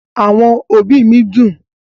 Àwọn òbí mi dùn